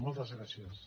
moltes gràcies